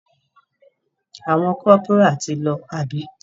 Àwọn corporal ti lọ àbí?